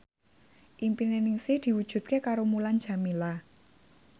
impine Ningsih diwujudke karo Mulan Jameela